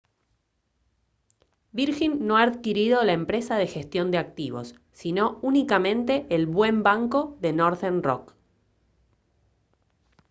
virgin no ha adquirido la empresa de gestión de activos sino únicamente el «buen banco» de northern rock